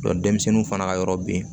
denmisɛnninw fana ka yɔrɔ bɛ ye